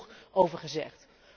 Er is al genoeg over gezegd.